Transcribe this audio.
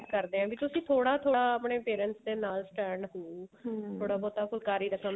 ਕਰਦੇ ਆ ਵੀ ਤੁਸੀਂ ਥੋੜਾ ਆਪਣੇ parents ਦੇ ਨਾਲ stand ਹੋਵੋ ਬਹੁਤਾ ਫੁਲਕਾਰੀ ਦਾ